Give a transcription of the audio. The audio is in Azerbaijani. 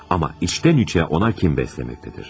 Amma içdən-içə ona kin bəsləməkdədir.